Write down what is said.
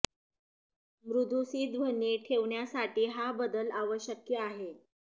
मृदु सी ध्वनि ठेवण्यासाठी हा बदल आवश्यक आहे